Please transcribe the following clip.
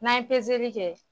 N'an ye peseli kɛ kɛ